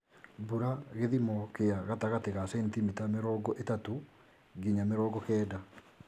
Mbura gĩthimo kĩa gatagatĩ ga centimita mĩrongo ĩtatu nginya mĩrongo kenda.